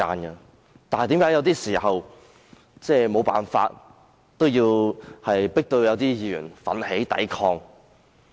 為甚麼有時候有些議員會被迫奮起抵抗？